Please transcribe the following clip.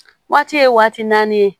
Waati ye waati n'i ye